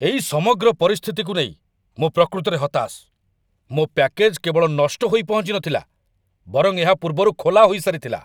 ଏଇ ସମଗ୍ର ପରିସ୍ଥିତିକୁ ନେଇ ମୁଁ ପ୍ରକୃତରେ ହତାଶ। ମୋ ପ୍ୟାକେଜ୍‌ କେବଳ ନଷ୍ଟହୋଇ ପହଞ୍ଚିନଥିଲା, ବରଂ ଏହା ପୂର୍ବରୁ ଖୋଲାହୋଇ ସାରିଥିଲା!